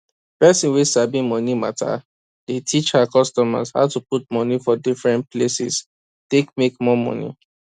person wey sabi moni matter dey teach her customers how to put money for different places take make more money